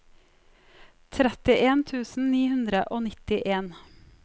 trettien tusen ni hundre og nittien